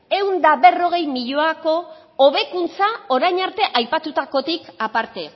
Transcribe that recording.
ehun eta berrogei milioiko hobekuntza orain arte aipatutakotik aparte